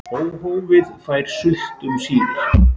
Óhófið fær sult um síðir.